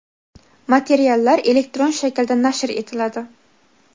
materiallar elektron shaklda nashr etiladi.